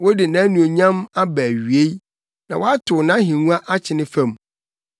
Wode nʼanuonyam aba awiei na woatow nʼahengua akyene fam.